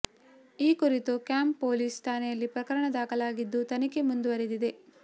ಈ ಕುರಿತು camp police ಠಾಣೆಯಲ್ಲಿ ಪ್ರಕರಣ ದಾಖಲಾಗಿದ್ದು ತನಿಖೆ ಮುಂದುವರೆದಿದೆ